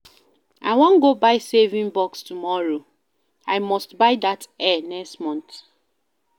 I wan go buy saving box tomorrow. I must buy dat hair next month